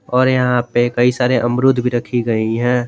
और यहां पे कई सारे अमरुद भी रखी गई हैं।